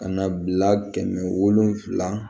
Ka na bila kɛmɛ wolonwula